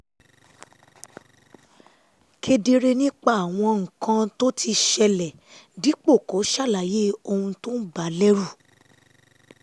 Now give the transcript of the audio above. kedere nípa àwọn nǹkan tó ti ṣẹlẹ̀ dípò kó ṣàlàyé ohun tó ń bà á lẹ́rù